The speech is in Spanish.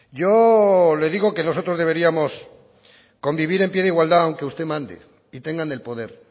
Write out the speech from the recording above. yo le digo que nosotros deberíamos convivir en pie de igualdad aunque usted mande y tengan el poder